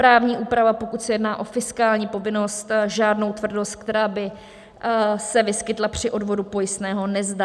Právní úprava, pokud se jedná o fiskální povinnost, žádnou tvrdost, která by se vyskytla při odvodu pojistného, nezná.